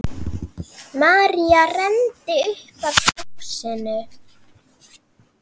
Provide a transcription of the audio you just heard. María renndi upp að húsinu.